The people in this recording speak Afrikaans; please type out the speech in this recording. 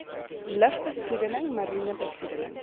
lugbesoedeling mariene besoedeling